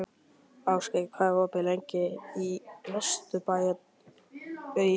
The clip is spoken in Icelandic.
Ástgeir, hvað er opið lengi í Vesturbæjarís?